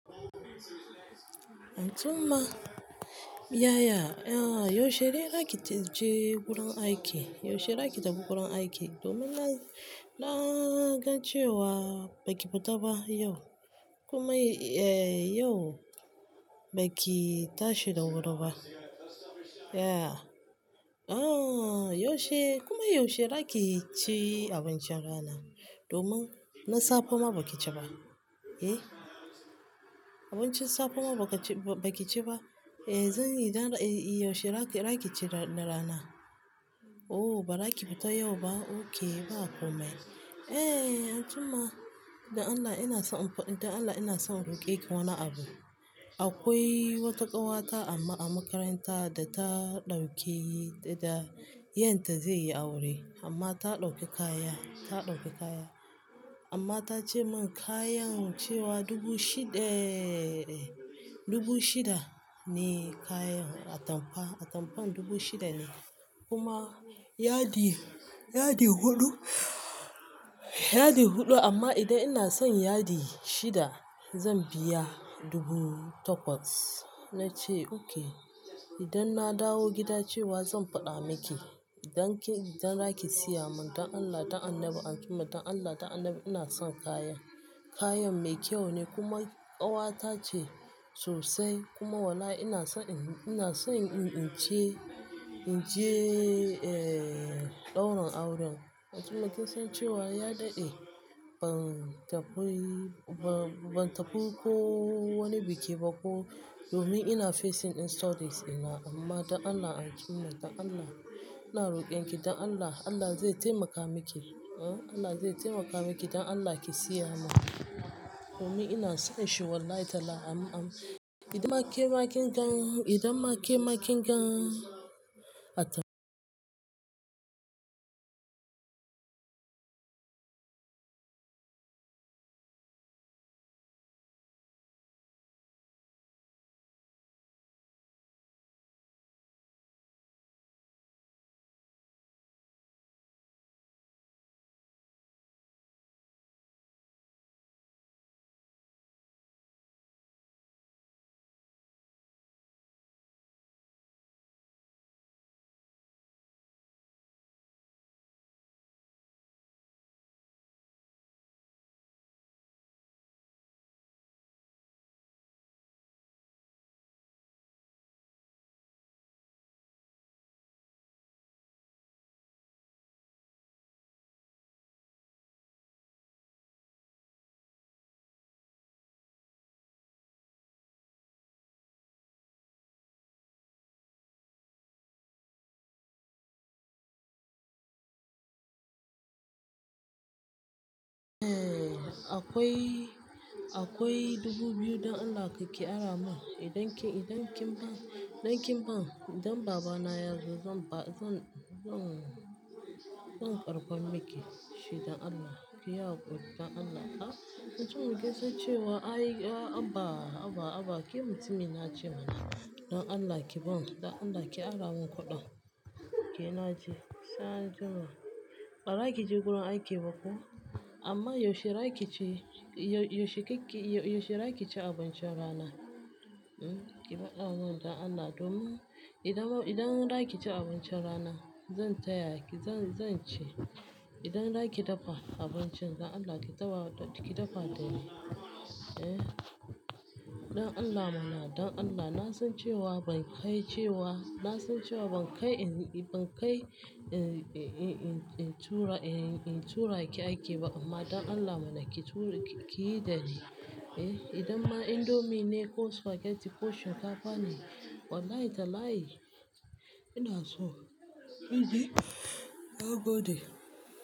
Antuma, yaya? Yaushe za ki taje gurin aiki? Yaushe za ki tafi gurin aiki domin na, na gan cewa ba ki fita ba yau. Kuma, eh, yau ba ki tashi da wuri ba. Yeah. Ah, yaushe, kuma yaushe za ki ci abincin rana domin na safe ma ba ki ci ba? Eh. Abincin safe ma ba ki ci ba, ba ki ci ba. Eh, zan yi, idan, eh, yaushe za ki, za ki ci na rana? Oh, ba za ki fito yau ba? Oke, ba komai. Eh, Antuma, don Allah ina so in faɗi, don Allah ina son in roƙe ki wani abu. Akwai wata ƙawata a makaranta da ta ɗauke yi, da, da, yarta zai yi aure amma ta ɗauki kaya, ta ɗauki kaya. Amma ta ce min kayan cewa dubu shida, eh, dubu shida ne kayan, atamfa, atamfan dubu shida ne. Kuma yadi, yadi huɗu, yadi huɗu amma idan ina son yadi shida zan biya dubu takwas. Na ce oke. Idan na dawo gida cewa zan faɗa miki idan kin, idan za ki siya mun don Allah, don Allah anjima, don Allah, don Allah ina son kayan. Kayan mai kyau ne kuma ƙawata ce sosai kuma wallahi ina son in, ina son in, in ce, in je, eh, ɗaurin auren. Antuma kin san cewa ya daɗe ban tafi, ba, ban tafi ko wani biki ba ko domin ina facing ɗin stories ina amma don Allah anjima, don Allah ina roƙon ki don Allah, Allah zai taimaka miki, huh, Allah zai taimaka miki don Allah ki siya mun. Domin ina son shi wallahi talahi an, an. Idan ma ke makin gan, idan ma ke makin gan atam-. Eh, akwai, akwai dubu biyu don Allah ka ƙi ara mun. Idan kin, idan kin bani, idan kin bani, idan baba na yazo zan ba, zan, zan, zan karɓa miki shi don Allah. Ki yaƙi don Allah. Ah, Antuma kin san cewa ai, abba, abba, abba, ki mutumi na ce mana don Allah ki bani, don Allah ki ara mun kuɗin. Ke na ce, sa'an nan kuma ba za ki je gurin aiki ba ko? Amma yaushe za ki ci, yaushe ki ki, yaushe za ki ci abincin rana? Hmm, ki faɗa mun don Allah domin idan ba, idan za ki ci abincin rana zan taya ki, zan, zan ci. Idan za ki dafa abincin don Allah ki dafa, ki dafa da ni. Eh, don Allah mana, don Allah. Na san cewa ban kai cewa, na san cewa ban kai in, ban kai in, in, in tura, in tura ki aiki ba amma don Allah mana ki tura, ki yi da ni. Eh, idan ma indomie ne ko spaghetti ko shinkafa ne wallahi talahi ina so. Gode.